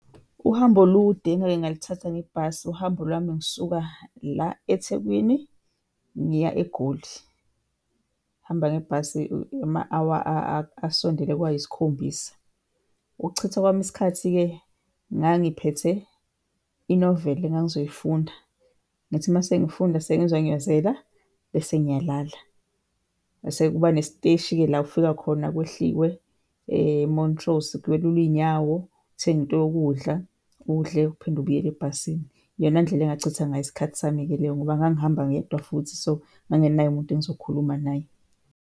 Uhambo olude engake ngalithatha ngebhasi, uhambo lwami ngisuka la eThekwini ngiya eGoli. Ngihamba ngebhasi ama-hour asondele kwayisikhombisa. Ukuchitha kwami isikhathi-ke ngangiphethe i-novel engangizoyifunda, ngithi masengifunda sengizwa ngiyazela bese ngiyalala. Mese kuba nesiteshi-ke la kufika khona kuhlikwe eMontrose kwelulwe iy'nyawo, uthenge into yokudla udle, uphinde ubuyele ebhasini. Iyona ndlela engachitha ngayo isikhathi sami-ke leyo ngoba ngangihamba ngedwa futhi, so ngangingenaye umuntu engizokhuluma naye.